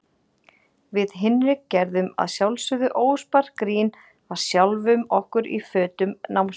Við Hinrik gerðum að sjálfsögðu óspart grín að sjálfum okkur í fötum námsmeyjanna.